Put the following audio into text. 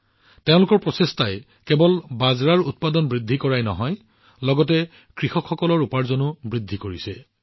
তেওঁৰ প্ৰচেষ্টাই কেৱল বাজৰাৰ উৎপাদন বৃদ্ধি কৰাই নহয় লগতে কৃষকসকলৰ উপাৰ্জনো বৃদ্ধি কৰিছে